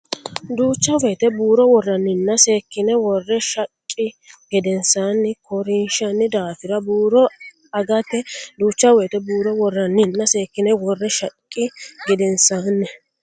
Duucha woyte buuro worranninna seekkine worre shaqqi gedensaanni ko rinshanni daafira buuro ageeti Duucha woyte buuro worranninna seekkine worre shaqqi gedensaanni.